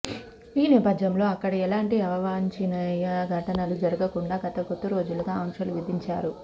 ఈ నేపథ్యంలో అక్కడ ఎలాంటి అవాంఛనీయ ఘటనలు జరగకుండా గత కొద్దిరోజులుగా ఆంక్షలు విధించారు